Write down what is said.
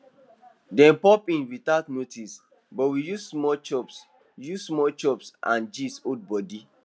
dem pop in without notice but we use small chops use small chops and gist hold body